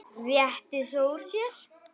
Rétti svo úr sér.